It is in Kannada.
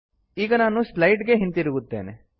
ಈಗ ನಾನು ಸ್ಲೈಡ್ ಗೆ ಹಿಂತಿರುಗುತ್ತೇನೆ